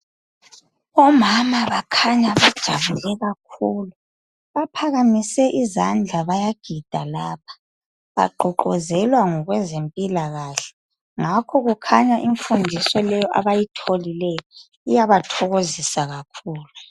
Omama bakhanya bajabule kakhulu. Baphakamise izandla bayagida lapha, bagqugquzelwa ngokwezemphilakahle ngakho kukhanya imfundiso leyo abayitholileyo, iyabathokosiza kakhulu